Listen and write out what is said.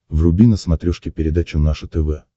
вруби на смотрешке передачу наше тв